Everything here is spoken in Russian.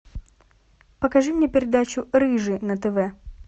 покажи мне передачу рыжий на тв